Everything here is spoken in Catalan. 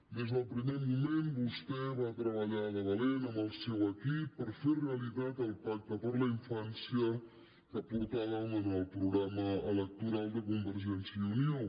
des del primer moment vostè va treballar de valent amb el seu equip per fer realitat el pacte per a la infància que portàvem en el programa electoral de convergència i unió